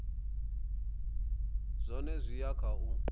zwone zwi ya kha u